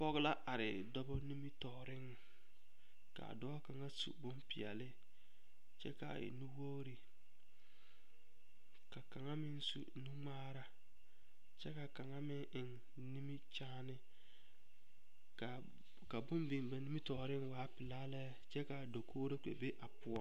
Pɔgeba la are dɔbɔ nimitɔɔreŋ ka a dɔɔ kaŋa su bompeɛle kyɛ ka a e nuwogri ka kaŋa meŋ su nu ŋmaaraa kyɛ ka a kaŋa meŋ eŋ nimikyaani ka kūū biŋ ba nimitɔɔreŋ a waa pelaa lɛkyɛ ka a dakogri kpɛ be a poɔ.